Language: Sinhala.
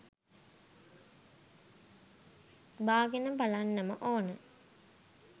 බාගෙන බලන්නම ඕන.